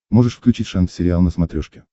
можешь включить шант сериал на смотрешке